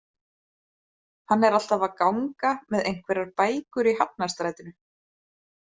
Hann er alltaf að ganga með einhverjar bækur í Hafnarstrætinu